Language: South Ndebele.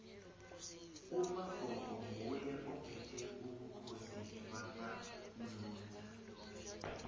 umabhko nguye ophethe ubukhosi bamanzunza